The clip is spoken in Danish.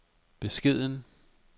beskeden